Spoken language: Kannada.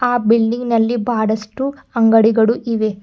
ಆ ಬಿಲ್ಡಿಂಗ್ ನಲ್ಲಿ ಬಹಳಷ್ಟು ಅಂಗಡಿಗಳು ಇವೆ.